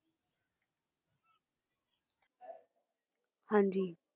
ਹਾਂ ਜੀ